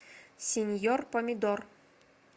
синьор помидор